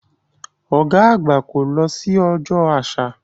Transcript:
Ọ̀gá àgbà kò lọ sí Ọjọ́ Àṣà.